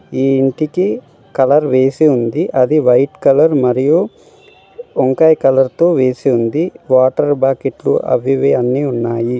ఈ ఇంటికి కలర్ వేసి ఉంది అది వైట్ కలర్ మరియు వంకాయ కలర్ తో వేసి ఉంది వాటర్ బాకెట్లు అవి ఇవి అన్ని ఉన్నాయి.